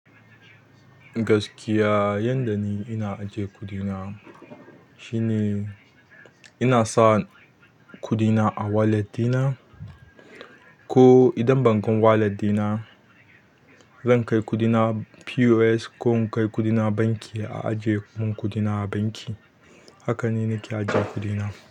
Gaskiya yanda ni ina ajiye kuɗina shine ina sa kuɗina a wallet ɗina ko idan bankin wallet dina zan kai kuɗina POS ko in kai kuɗina banki a ajiye mun kuɗina a banki. Haka ni nake ajiye kuɗina.